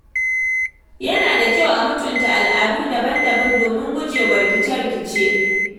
Yana da kyau a mutunta al’adu daban-daban domin gujewa rikice-rikice.